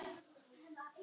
Hver vill eiga evrur?